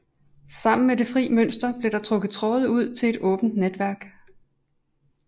Sammen med det fri mønster blev der trukket tråde ud til et åbent netværk